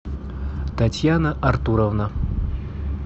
татьяна артуровна